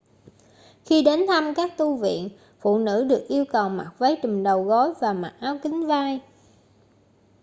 khi đến thăm các tu viện phụ nữ được yêu cầu mặc váy trùm đầu gối và mặc áo kín vai